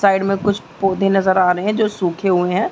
Side में कुछ पोधे नजर आ रहें हैं जो सूखे हुएं हैं।